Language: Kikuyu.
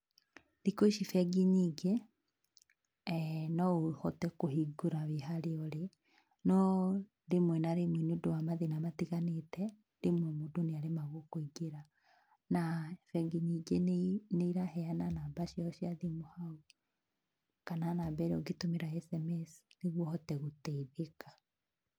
Thikũ ici bengi nyingĩ, no ũhote kũhingũra wĩ harĩ ũrĩ no rĩmwe na rĩmwe nĩũndũ wa mathĩna matiganĩte, rĩmwe mũndũ nĩ aremagwo kũingĩra, na bengi nyingĩ nĩ iraheana namba ciao cia thimũ hau kana namba ĩrĩa ũngĩtũmĩra sms nĩguo ũhote gũteithĩka.